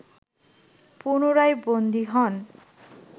পুনরায় বন্দী হন